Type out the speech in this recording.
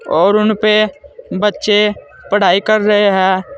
और उनपे बच्चे पढ़ाई कर रहे हैं।